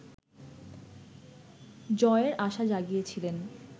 জয়ের আশাজাগিয়েছিলেন